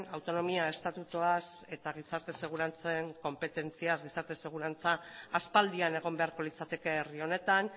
autonomia estatutuaz eta gizarte segurantzen konpetentziaz gizarte segurantza aspaldian egon beharko litzateke herri honetan